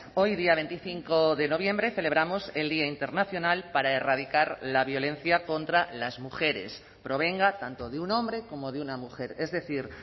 hoy día veinticinco de noviembre celebramos el día internacional para erradicar la violencia contra las mujeres provenga tanto de un hombre como de una mujer es decir